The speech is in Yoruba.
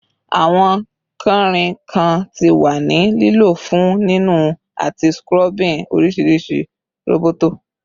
Awọn kanrinkan ti wa ni lilo fun ninu ati scrubbing orisirisi roboto